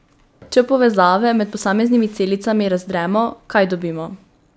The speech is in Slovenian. Če povezave med posameznimi celicami razdremo, kaj dobimo?